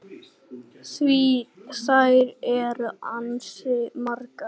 Því þær eru ansi margar.